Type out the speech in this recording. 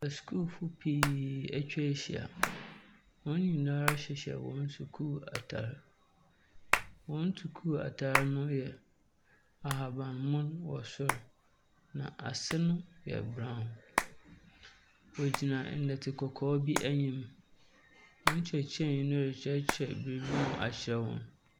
Asukuufo pii atwa ahyia. Wɔn nyinaa ara hyehyɛ wɔn sukuu atar. Wɔn sukuu ataare no yɛ ahaban mono wɔ soro na ase no yɛ brawn. Wɔgyina ɛnɛte kɔkɔɔ bi anim. Wɔn kyerɛkyerɛni no rekyerɛ biribi mu akyerɛ wɔn.